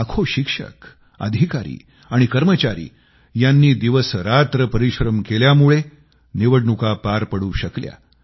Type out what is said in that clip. लाखो शिक्षक अधिकारी आणि कर्मचारी यांनी दिवसरात्र परिश्रम केल्यामुळे निवडणुका पार पडू शकल्या